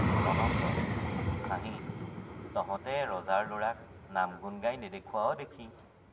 অনঙ্গ— হাঁহি তহতে ৰজাৰ লৰাক নাম গুণ্ গাই নেদেখুৱাৱ দেখি।